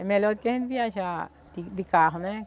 É melhor do que a gente viajar de de carro, né?